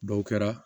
Dɔw kɛra